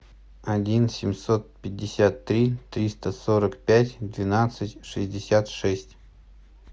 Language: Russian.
один семьсот пятьдесят три триста сорок пять двенадцать шестьдесят шесть